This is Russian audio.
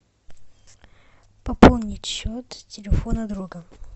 пополнить счет телефона друга